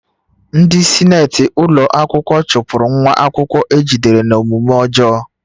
Ndị sinetị ụlọ akwụkwọ chụpụrụ nwa akwụkwọ a jidere n'omume ọjọọ